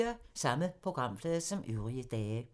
Samme programflade som øvrige dage